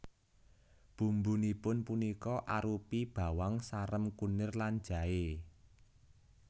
Bumbunipun punika arupi bawang sarem kunir lan jaé